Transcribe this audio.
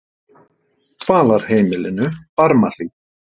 Dvalarheimilinu Barmahlíð